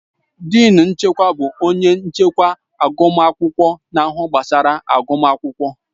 Dịịn nke ọmụmụ bụ onye nchịkwa agụmakwụkwọ na-ahụ gbasara agụmakwụkwọ